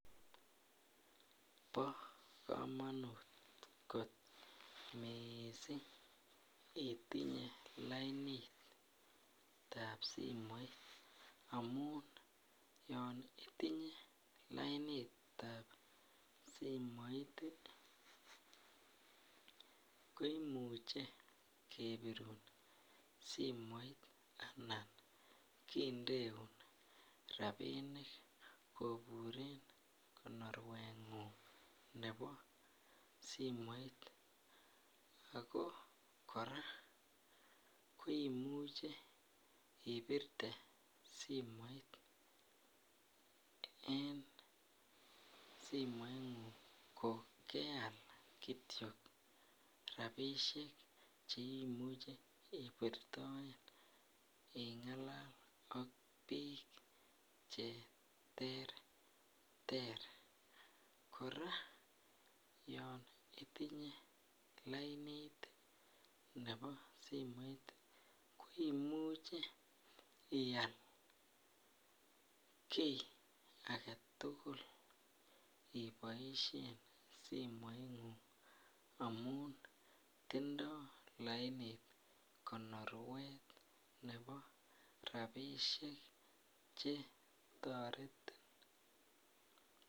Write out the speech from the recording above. Bo komonut kot mising itinye lainatab simoit amun yon itinye lainit ab simoit ko imuche kebirun simoit anan kindeun rabinik koburen konoruengung nebo simoit ago kora koimuche ibirte simoit en simoingung kogeal Kityo rabisiek Che imuche ibirtoen ingalal ak bik Che terter kora yon itinye lainit nebo simoit ko imuche ial ki age tugul iboisien simoingung amun tindo lainit konoruet nebo rabisiek Che toretin